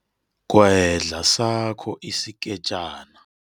Gwedla sakho isikejana.